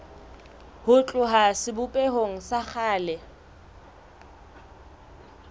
ho tloha sebopehong sa kgale